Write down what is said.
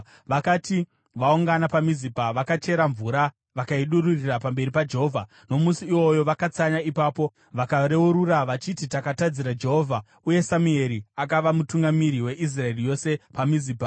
Vakati vaungana paMizipa, vakachera mvura vakaidururira pamberi paJehovha. Nomusi iwoyo vakatsanya ipapo vakareurura vachiti, “Takatadzira Jehovha.” Uye Samueri akava mutungamiri weIsraeri yose paMizipa.